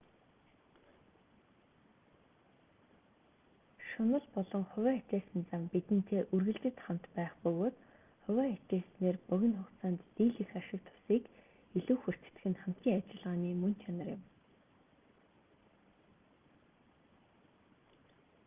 шунал болон хувиа хичээсэн зан бидэнтэй үргэлжид хамт байх бөгөөд хувиа хичээснээр богино хугацаанд дийлэнх ашиг тусыг илүү хүртдэг нь хамтын ажиллагааны мөн чанар юм